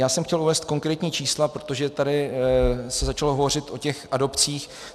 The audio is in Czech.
Já jsem chtěl uvést konkrétní čísla, protože tady se začalo hovořit o těch adopcích.